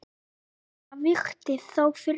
Sumt vakti þó furðu.